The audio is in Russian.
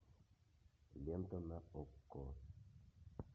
лента на окко